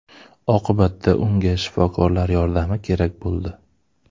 Oqibatda unga shifokorlar yordami kerak bo‘ldi.